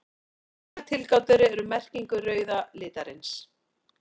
Tvær tilgátur eru um merkingu rauða litarins.